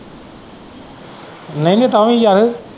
ਮੈਂ ਵੀ ਤਾਂਹੀ ਗਿਆ ਹੀ।